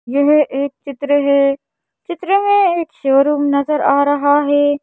यह एक चित्र है चित्र है एक शोरूम नजर आ रहा है।